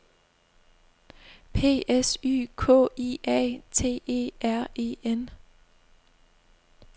P S Y K I A T E R E N